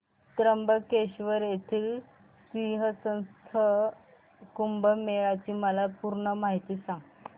त्र्यंबकेश्वर येथील सिंहस्थ कुंभमेळा ची मला पूर्ण माहिती सांग